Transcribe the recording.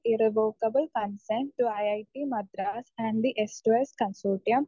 speaker 1 irrevocable concern to I I T Madras and the S to S consortium